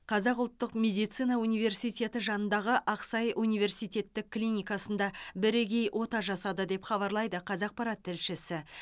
қазақ ұлттық медицина университеті жанындағы ақсай университеттік клиникасында бірегей ота жасады деп хабарлайды қазақпарат тілшісі